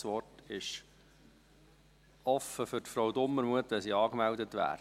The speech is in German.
Das Wort ist offen für Grossrätin Dumermuth, wenn sie angemeldet wäre.